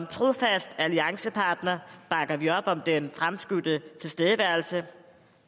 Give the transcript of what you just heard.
trofast alliancepartner bakker vi op om den fremskudte tilstedeværelse